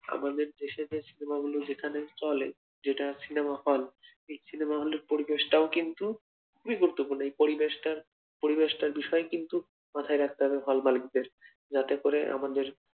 আমাদের দেশের সিনেমা গুলো যেখানে চলে যেটা সিনেমা হল এই সিনেমা হলের পরিবেশটাও কিন্তু গুরুত্বপূর্ণ এই পরিবেশ পরিবেশটার বিষয় কিন্তু মাথায় রাখতে হবে হল ওয়ালাদের যাতে করে